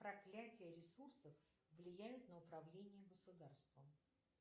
проклятие ресурсов влияет на управление государством